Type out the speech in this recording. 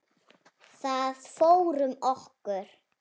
Það fór um okkur.